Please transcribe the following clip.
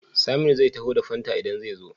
Saminu zai taho da fanta idan ze zo?